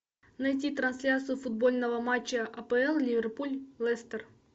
найти трансляцию футбольного матча апл ливерпуль лестер